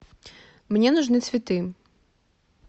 мне нужны цветы